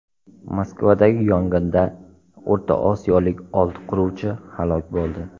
Moskvadagi yong‘inda o‘rta osiyolik olti quruvchi halok bo‘ldi.